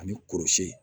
Ani kɔrɔsiyɛn